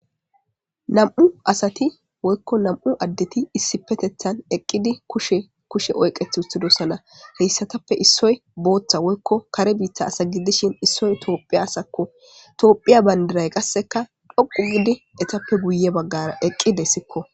nam7u asati woykko nam7u addeti issipetethan eqqidi kushe kushe oyqeth uttidossana heyssatappe issoy booththa woykko kare biitta asagiddishin issoy toophiya asakko toophiya bandiray qasseka dhoqu gidi etappe guye baggara eqqidessikko